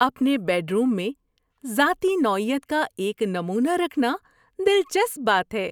اپنے bedroom میں ذاتی نوعیت کا ایک نمونہ رکھنا دلچسپ بات ہے۔